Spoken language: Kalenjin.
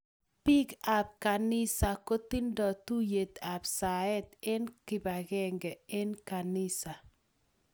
Biik ab kanisa kokitindo tuyet ab saet eng kibagenge eng kanisa